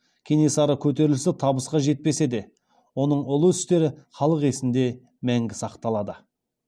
кенесары көтерілісі табысқа жетпесе де оның ұлы істері халық есінде мәңгі сақталады